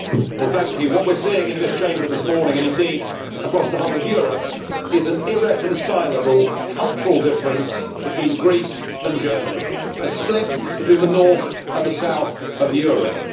Mr President, what we are seeing in this Chamber this morning, and indeed across the whole of Europe, is an irreconcilable cultural difference between Greece and Germany a split between the north and the south of Europe.